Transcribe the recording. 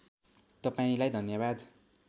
तपाईँलाई धन्यवाद